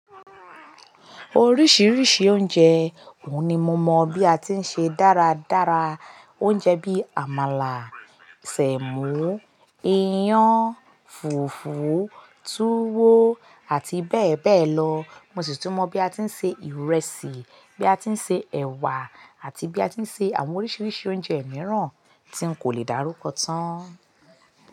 Oríṣiríṣi oúnjẹ, òun ni mo mọ̀ bí a ti ń ṣe dáradára. Oúnjẹ bí àmàlà, sẹ̀mọ́, iyán, fùfú, túwó àti bẹ́ẹ̀ bẹ́ẹ̀ lọ. Mo sì tún mọ̀ bí a ti ń ṣe ìrẹsì, bí a ti ń ṣe ẹ̀wà àti bí a ti ń ṣe àwọn oríṣiríṣi oúnjẹ mìíràn tí n kò lè dárúkọ tán.